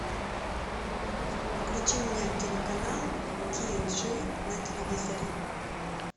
включи мне телеканал тиджи на телевизоре